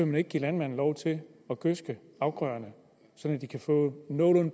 man ikke give landmanden lov til at gødske afgrøderne så de kan få